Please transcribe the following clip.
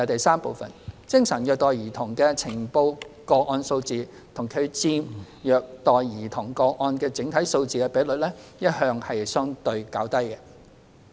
三精神虐待兒童的呈報個案數字及其佔虐待兒童個案的整體數字的比率一向相對較低。